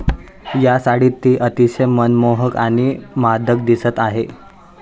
या साडीत ती अतिशय मनमोहक आणि मादक दिसत आहे.